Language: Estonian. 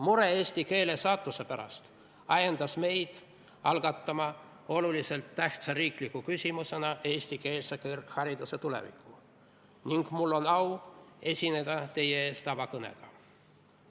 Mure eesti keele saatuse pärast ajendas meid algatama olulise tähtsusega riikliku küsimusena arutelu eestikeelse kõrghariduse tuleviku üle ning mul on au esineda teie ees selle avakõnega.